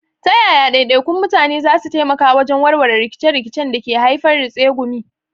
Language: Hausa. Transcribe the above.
Ta yaya daidaikun mutane za su taimaka wajen warware rikice-rikicen da ke haifar da tsegumi?